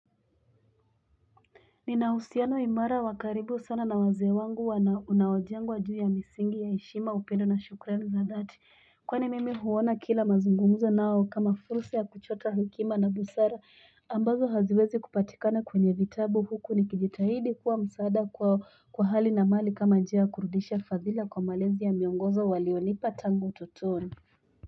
Ninausiano imara wakaribu sana na wazee wangu unaojengwa juu ya misingi ya heshima upendo na shukremi za dhati kwani mimi huona kila mazungumzo nao kama fulsa ya kuchota hekima na busara ambazo haziwezi kupatikana kwenye vitabu huku nikijitahidi kuwa msaada kwao kwahali na mali kama njia ya kurudisha fadhila kwa malezi ya miongozo walionipa tangu utotoni.